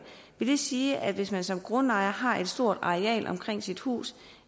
vil det sige at hvis man som grundejer har et stort areal omkring sit hus